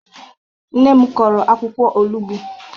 Nne m kụrụ akwukwo olugbo.